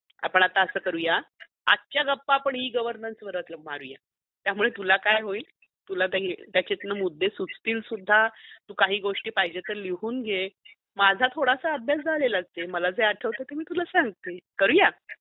आपण आता अस करुया आजच्या गप्पा आपण ई -गवर्नन्स वरच मारूया त्यामुळे तुला काय होईल त्याच्यातून मुद्दे सुचतील सुद्धा, तू काही गोष्टी पाहिजे तर लिहून घे माझा थोड़सा अभ्यास झालेलाच आहेमला जे आठवते ते मी तुला सांगते करुया?